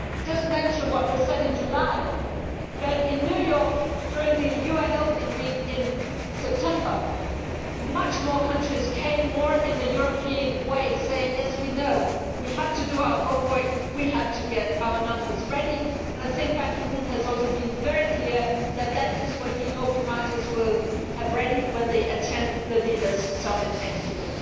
I just mentioned what was said in July, but in New York during the UN opening week in September, many more countries moved more into the European way of thinking, saying, yes, we know we have to do our homework, we have to get our numbers ready', and I think Mr Ban Ki moon has also been very clear that that is what he hopes parties will have ready when they attend the leaders' summit next year.